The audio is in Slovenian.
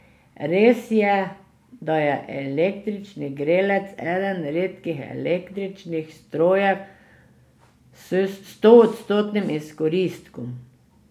Res je, da je električni grelec eden redkih električnih strojev s stoodstotnim izkoristkom.